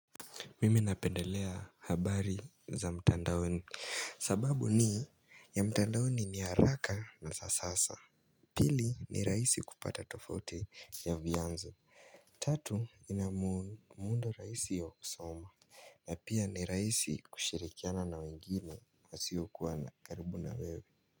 Mimi napendelea habari za mtandaoni. Sababu ni ya mtandaoni ni haraka na za sasa. Pili ni raisi kupata tofauti ya vianzo. Tatu inamundo raisi ya kusoma na pia ni raisi kushirikiana na wengine. Wasiokuwa na karibu na wewe.